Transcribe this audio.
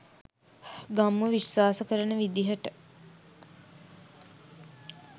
ගම්මු විශ්වාස කරන විදිහට